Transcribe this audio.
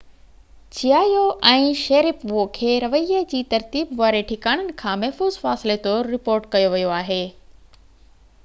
چيايو ۽ شيريپوو کي رويي جي ترتيب واري ٺڪاڻن کان محفوظ فاصلي طور رپورٽ ڪيو ويو آهي